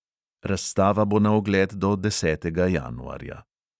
Razstava bo na ogled do desetega januarja.